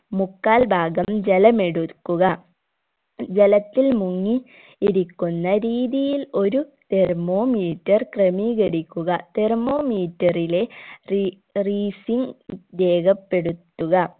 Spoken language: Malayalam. മുക്കാൽ ഭാഗം ജലമെടുക്കുക ജലത്തിൽ മുങ്ങി ഇരിക്കുന്ന രീതിയിൽ ഒരു thermometer ക്രമീകരിക്കുക thermometer ലെ റീ reasing രേഖപ്പെടുത്തുക